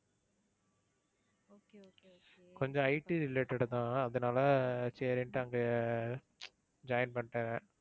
கொஞ்சம் IT related தான். அதுனால சரின்னுட்டு அங்க join பண்ணிட்டேன்.